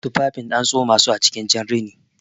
Tufafin an tsomasu acikin jan rini